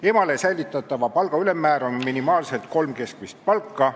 Emale säilitatava palga ülemmäär on minimaalselt kolm keskmist palka.